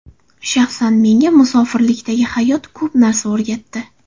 Shaxsan menga, musofirlikdagi hayot ko‘p narsa o‘rgatdi.